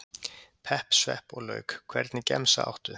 pepp, svepp og lauk Hvernig gemsa áttu?